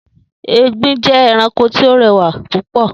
Egbin jẹ́ ẹranko tí ó rẹwà púpọ̀